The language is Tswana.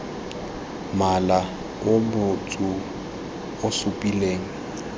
mola o motsu o supileng